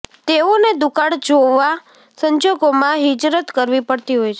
તેઓને દુકાળ જેવા સંજોગોમાં હિજરત કરવી પડતી હોય છે